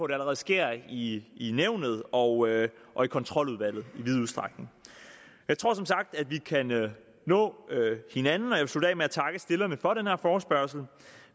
det allerede sker i i nævnet og og i kontroludvalget i vid udstrækning jeg tror som sagt at vi kan nå hinanden og jeg vil slutte af med at takke stillerne for den her forespørgsel